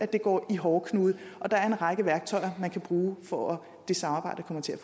det går i hårdknude og der er en række værktøjer man kan bruge for at det samarbejde kommer til